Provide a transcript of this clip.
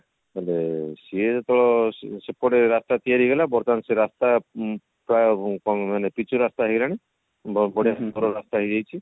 ହେଲେ ସିଏ ତ ସିଏ ସେକଡେ ରାସ୍ତା ତିଆରି ହେଇଗଲା ବର୍ତମାନ ସେ ରାସ୍ତା ପ୍ରାୟ କଣ ମାନେ ପିଚୁ ରାସ୍ତା ହେଇଗଲାଣି ବହୁତ ବଢିଆ ରାସ୍ତା ହେଇଯାଇଛି